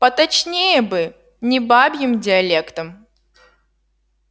поточнее бы не бабьим диалектом